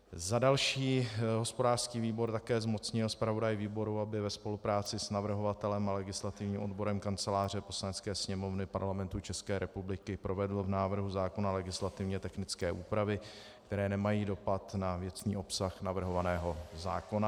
Za další hospodářský výbor také zmocnil zpravodaje výboru, aby ve spolupráci s navrhovatelem a legislativním odborem Kanceláře Poslanecké sněmovny Parlamentu České republiky provedl v návrhu zákona legislativně technické úpravy, které nemají dopad na věcný obsah navrhovaného zákona.